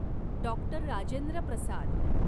doctor Rajendra Prasad